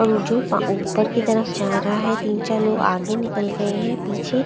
और जो ऊपर की तरफ जा रहा है तीन चार लोग आगे निकल गए हैं पीछे--